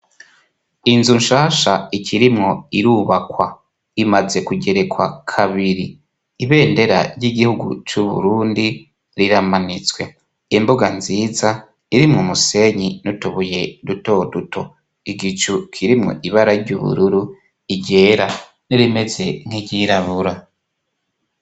Inzu nshasha ikirimwo irubakwa imaze kugerekwa kabiri ibendera ry'igihugu c'Uburundi riramanitswe imbuga nziza irimwo umusenyi n'utubuye dutoduto igicu kirimwo ibara ry'ubururu ryera n'irimeze nk'iryirabura.